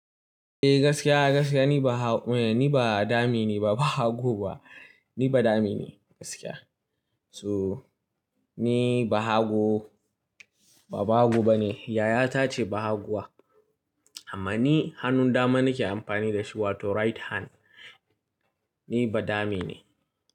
Eh gaskiya, gaskiya ni ba ha-- ni ba dami ne ba, ba hagu ba. Ni ba dami ne gaskiya. So ni ba hagu, ba bahago bane. Yaya ta ce ba haguwa. Amma ni hannun dama nake amfani da shi wato right hand ni ba dame ne.